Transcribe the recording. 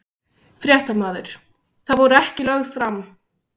Fréttamaður: Þau voru ekki lögð fram?